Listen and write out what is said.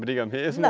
Briga mesmo? Não